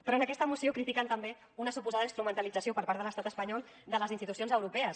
però en aquesta moció critiquen també una suposada instrumentalització per part de l’estat espanyol de les institucions europees